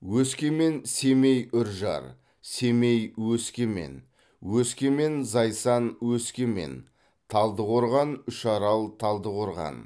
өскемен семей үржар семей өскемен өскемен зайсан өскемен талдықорған үшарал талдықорған